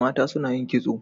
mata suna yin kitso